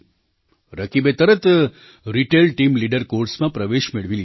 રકીબે તરત retail team leader કૉર્સમાં પ્રવેશ મેળવી લીધો